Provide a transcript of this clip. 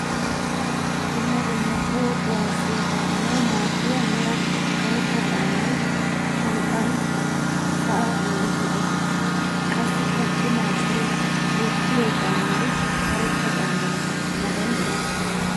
Dumma dumma toho kuwasiya kaa'annawu maadiya meraa karetta caamay shanxxan sa'aa bolla hiixxettis. Qassikka cimma asay wottiyo caammay karetta caama matan de'ees.